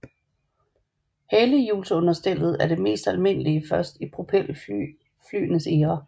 Halehjulsunderstellet var det mest almindelige først i propelflyenes æra